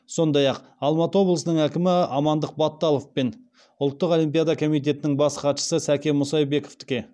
сондай ақ алматы облысының әкімі амандық баталов пен ұлттық олимпиада комитетінің бас хатшысы сәкен мұсайбековтікке